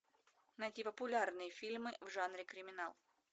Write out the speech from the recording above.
найти популярные фильмы в жанре криминал